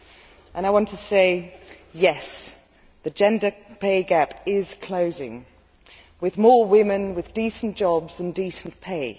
I want to say, Yes, the gender pay gap is closing, with more women with decent jobs and decent pay.